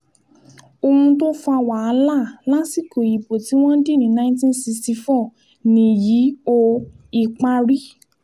ohun tó fa wàhálà lásìkò ìbò tí wọ́n dì ní 1964 nìyí o ìparí